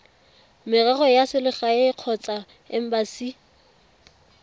merero ya selegae kgotsa embasi